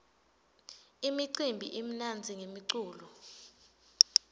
imicimbi imnandzi ngemculo